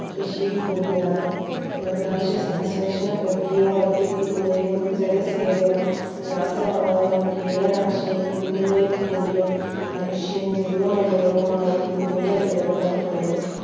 കൃഷിയിൽ കൂടിയാണ് പ്രകാശസംശ്ലേഷണ പ്രക്രിയ വർദ്ധിപ്പിക്കുകയും ജലസേചനം രാസവളങ്ങൾ കീടനാശിനി എന്നിവയിൽ കൂടിയും മനുഷ്യൻ ജൈവ മണ്ഡലവുമായി കൂടുതൽ ഇടപെടാൻ തുടങ്ങി